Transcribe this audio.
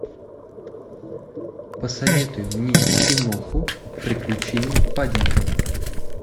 посоветуй мне киноху приключения паддингтона